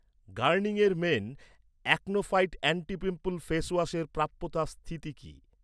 Garnier men acno fight anti pimple ফেসওয়াশের প্রাপ্যতা স্থিতি কি?